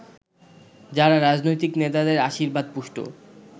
যারা রাজনৈতিক নেতাদের আশীর্বাদ পুষ্ট